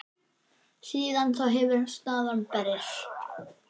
Síðan þá hefur staðan breyst.